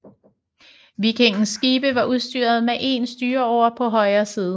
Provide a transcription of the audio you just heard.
Vikingernes skibe var udstyret med én styreåre på højre side